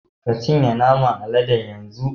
Ka cinye naman aladen yanzu.